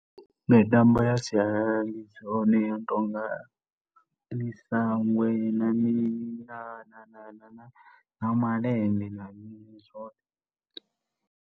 Mitambo ya sialala ndi ḓivha yeneyi i no tonga misangwe, na mini? Na, na, na malende na mini zwoṱhe.